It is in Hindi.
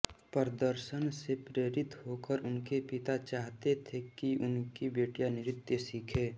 प्रदर्शन से प्रेरित होकर उनके पिता चाहते थे कि उनकी बेटियां नृत्य सीखें